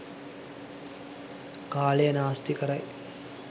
කාලය නාස්ති කරයි.